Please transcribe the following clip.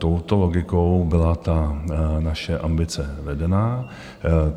Touto logikou byla ta naše ambice vedená.